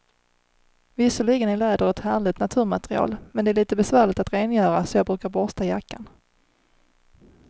Visserligen är läder ett härligt naturmaterial, men det är lite besvärligt att rengöra, så jag brukar borsta jackan.